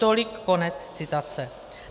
Tolik konec citace.